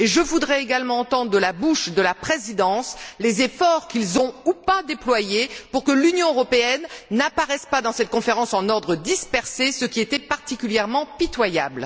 Je voudrais également entendre de la bouche de la présidence les efforts que les États membres ont ou n'ont pas déployés pour que l'Union européenne n'apparaisse pas dans cette conférence en ordre dispersé, ce qui était particulièrement pitoyable.